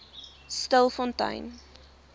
stilfontein